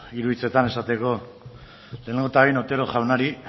hiru hitzetan esateko lehenengo eta behin otero jaunari